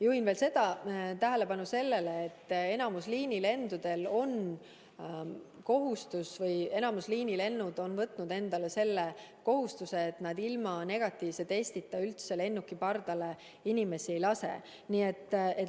Juhin veel tähelepanu sellele, et enamikul liinilendudel kehtib kord, et ilma negatiivse testita üldse lennuki pardale inimesi ei lasta.